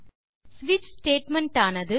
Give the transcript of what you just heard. ஸ்விட்ச் ஸ்டேட்மெண்ட் ஆனது